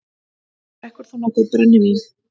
Drekkur þú nokkuð brennivín?